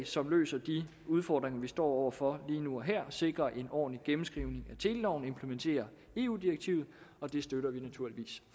som løser de udfordringer vi står over for lige nu og her sikrer en ordentlig gennemskrivning af teleloven og implementerer eu direktivet og det støtter vi naturligvis